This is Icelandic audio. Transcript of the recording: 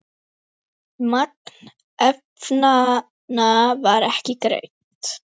Magn efnanna var ekki greint.